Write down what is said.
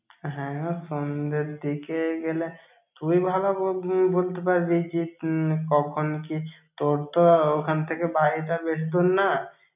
হ্যাঁ, ও সন্ধ্যের দিকে গেলে, তুই ভালো ব~ উম বলতে পারবি কি উম কখন কি তোর তো ওখান থেকে বাড়ি টা বেশিদূর না।